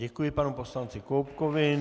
Děkuji panu poslanci Koubkovi.